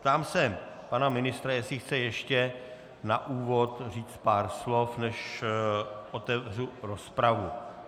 Ptám se pana ministra, jestli chce ještě na úvod říct pár slov, než otevřu rozpravu.